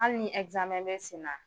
Hali ni bɛ senna.